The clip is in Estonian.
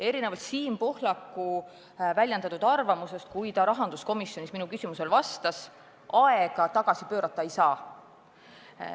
Erinevalt Siim Pohlaku väljendatud arvamusest, kui ta rahanduskomisjonis minu küsimusele vastas, aega tagasi pöörata ei saa.